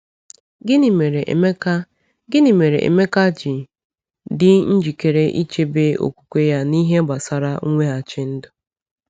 Gịnị mere Emeka Gịnị mere Emeka ji dị njikere ịchebe okwukwe ya n’ihe gbasara mweghachi ndụ?